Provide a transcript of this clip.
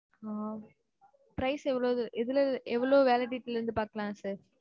ஆஹ் prize எவ்வளவு validity ல பாக்கலாம், sir?